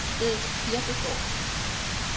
Edel Kirkegaard